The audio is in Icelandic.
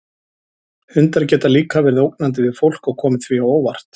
Hundar geta líka verið ógnandi við fólk og komið því á óvart.